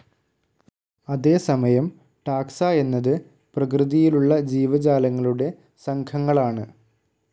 അതേസമയം ടാക്സ എന്നത് പ്രകൃതിയിലുള്ള ജീവജാലങ്ങളുടെ സംഘങ്ങളാണ്.